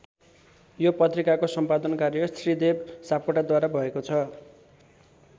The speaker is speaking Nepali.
यो पत्रिकाको सम्पादन कार्य श्रीदेव सापकोटाद्वारा भएको छ।